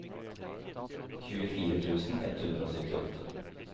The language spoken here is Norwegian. tjuefire tusen ett hundre og syttiåtte